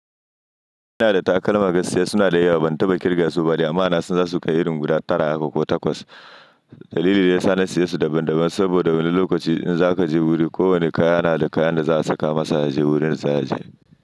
Ina da takalma gaskiya suna da yawa ban taba ƙirga su ba, amma na san za su kai irin guda tara haka ko takwas. Dalili ne ya sa na siye su daban daban saboda wani lokaci in za ka je wuri, kowane kaya na da kayan da za a saka masa ya je wurin za ya je.